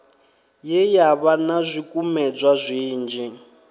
ye yavha na zwikumedzwa zwinzhi